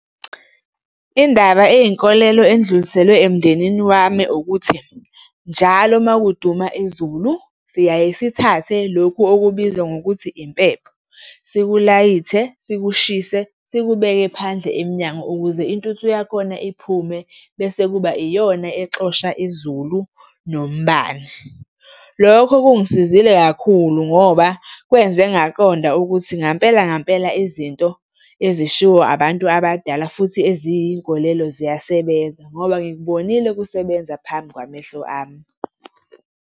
Indaba eyinkolelo edluliselwe emndenini wami ukuthi njalo uma kuduma izulu siyaye sithathe lokhu okubizwa ngokuthi impepho, sikulayite, sikushise, sikubeke phandle emnyango ukuze intuthu yakhona iphume bese kuba iyona exosha izulu nombani. Lokho kungisizile kakhulu ngoba kwenze ngaqonda ukuthi ngampela ngampela izinto ezishiwo abantu abadala futhi eziyinkolelo ziyasebenza ngoba ngikubonile kusebenza phambi kwamehlo ami.